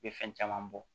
I bɛ fɛn caman bɔ